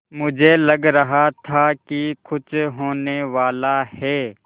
मुझे लग रहा था कि कुछ होनेवाला है